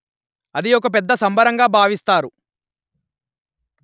అది ఒక పెద్ద సంబరంగా భావిస్తారు